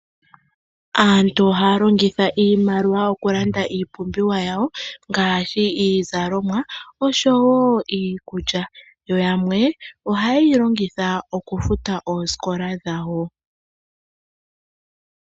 Aantu ohaya longitha iimaliwa oku landa iipumbiwa yawo ngaashi iizalomwa oshowo iikulya, yo yamwe ohaye yi longitha oku futa oosikola dhawo.